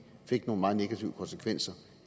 fik nogle meget negative konsekvenser